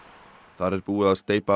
þar er búið að steypa